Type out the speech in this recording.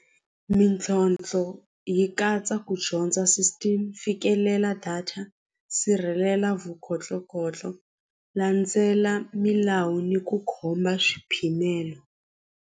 Mintlhontlho yi katsa ku dyondza system fikelela data sirhelela landzela milawu ni ku khoma swiphimelo.